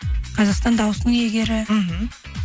қазақтан дауысының иегері мхм